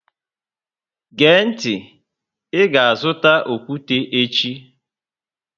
Gee ntị, Ị ga azụta okwute echi!